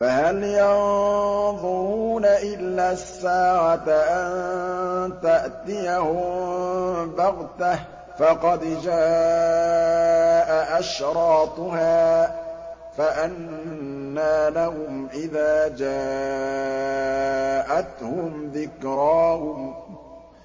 فَهَلْ يَنظُرُونَ إِلَّا السَّاعَةَ أَن تَأْتِيَهُم بَغْتَةً ۖ فَقَدْ جَاءَ أَشْرَاطُهَا ۚ فَأَنَّىٰ لَهُمْ إِذَا جَاءَتْهُمْ ذِكْرَاهُمْ